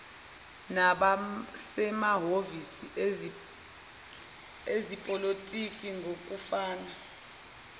nabasemahhovisi ezepolitiki ngokufana